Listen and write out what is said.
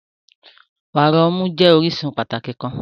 Wara ọmu jẹ orisun pataki kan.